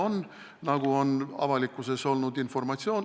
Selline informatsioon on ka avalikkuses kõlanud.